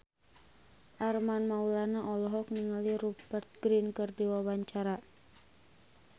Armand Maulana olohok ningali Rupert Grin keur diwawancara